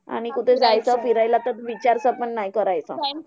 आणि कुठे जायचं फिरायला तर विचार पण नाही करायचं.